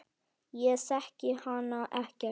Ég þekki hana ekkert.